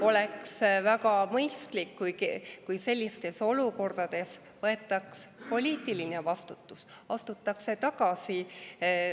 Oleks väga mõistlik, kui sellistes olukordades võetaks poliitiline vastutus, astutaks tagasi.